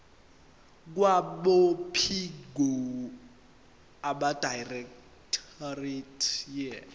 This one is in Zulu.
kwabophiko abedirectorate ye